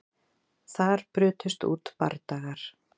Þar brutust út bardagar